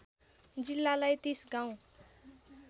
जिल्लालाई ३० गाउँ